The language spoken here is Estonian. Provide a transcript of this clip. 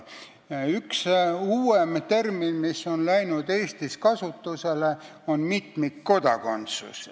Üks uuem termin, mis on Eestis kasutusele läinud, on "mitmikkodakondsus".